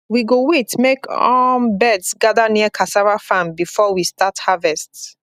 we go wait make um birds gather near cassava farm before we start harvest